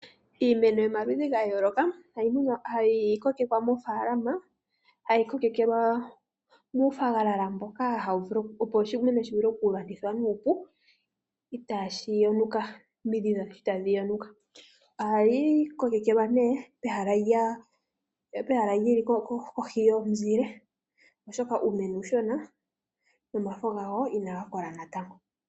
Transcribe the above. Iimeno yomaludhi ga yooloka, hayi kokekwa moofaalama, hayi kokelelwa muufagalala mboka opo oshimeno shi vule okugathithwa nuupu, itaashi yonuka nomidhi dhasho itaadhi yonuka. Ohayi kokekelwa nee pehala lyili kohi yomunzile oshoka uumeno uushona nomafo gawo inaga kola natango.